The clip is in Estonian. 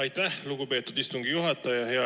Aitäh, lugupeetud istungi juhataja!